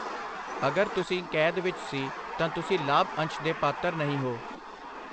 ਅਗਰ ਤੁਸੀਂ ਕੈਦ ਵਿੱਚ ਸੀ, ਤਾਂ ਤੁਸੀਂ ਲਾਭ ਅੰਸ਼ ਦੇ ਪਾਤਰ ਨਹੀਂ ਹੋ।